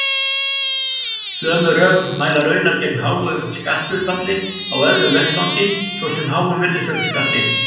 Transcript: Sömu rök mæla raunar gegn háu skatthlutfalli á öðrum vettvangi, svo sem háum virðisaukaskatti.